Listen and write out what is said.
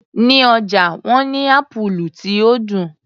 Ní ọjà wọ́n ní Ápúlú tí ó dùn.